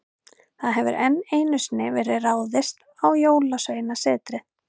Það hefur enn einu sinni verið ráðist á Jólasveinasetrið.